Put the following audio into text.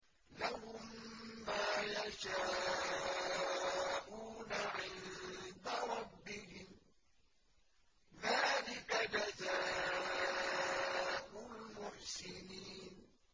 لَهُم مَّا يَشَاءُونَ عِندَ رَبِّهِمْ ۚ ذَٰلِكَ جَزَاءُ الْمُحْسِنِينَ